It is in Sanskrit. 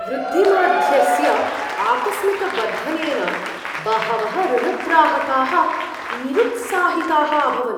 वृद्धिमाध्यस्य आकस्मिकवर्धनेन बहवः ऋणग्राहकाः निरुत्साहिताः अभवन्।